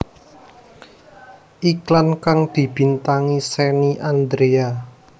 Iklan kang dibintangi Shenny Andrea